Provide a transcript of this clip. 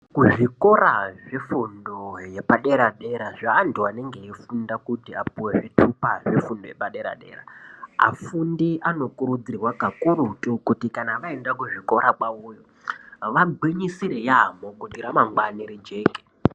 Kuzvikora zvefundo yepadera dera zvevantu vanenge veyifunda kuti vapuwe zvitupa zvefundo yepadera dera afundi anokurudzirwa kakurutu kuti kana vaenda kuzvikora kwaveyo vagwinyisire yambo kuitire ramangwani rijeke.